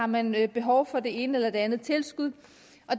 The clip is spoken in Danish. man har behov for det ene eller det andet tilskud